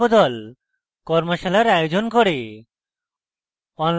tutorials ব্যবহার করে কর্মশালার আয়োজন করে